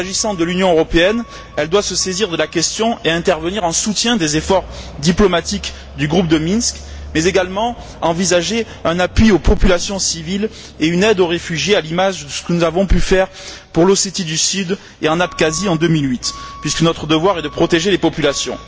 S'agissant de l'Union européenne, elle doit se saisir de la question et intervenir en soutien des efforts diplomatiques du groupe de Minsk, mais également envisager un appui aux populations civiles et une aide aux réfugiés, à l'image de ce que nous avons pu faire pour l'Ossétie du Sud et l'Abkhazie en 2008, puisque notre devoir est de protéger les populations.